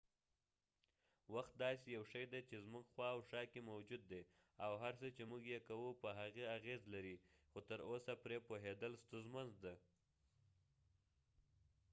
وخت داسې یو شي دي چې زموږ خوا او شا کې موجود دي ،او هر څه چې موږ یې کوو په هغې اغیز لري خو تر اوسه پری پوهیدل ستونزمن دي